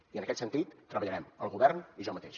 i en aquest sentit treballarem el govern i jo mateix